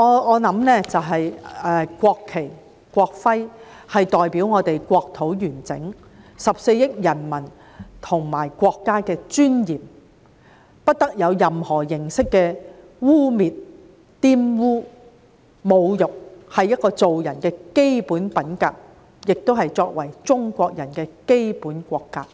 我認為國旗、國徽代表了我們國土的完整、14億人民和國家的尊嚴，不得受到任何形式的污衊和侮辱，這是做人的基本品格，也是作為中國人的基本國格。